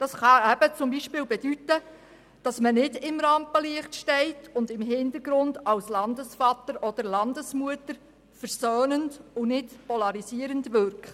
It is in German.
Das kann etwa bedeuten, dass man nicht im Rampenlicht steht, sondern im Hintergrund als Landesvater oder Landesmutter versöhnend und nicht polarisierend wirkt.